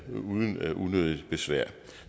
uden unødigt besvær